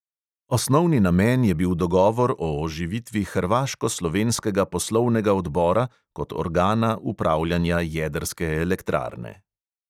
Osnovni namen je bil dogovor o oživitvi hrvaško-slovenskega poslovnega odbora kot organa upravljanja jedrske elektrarne.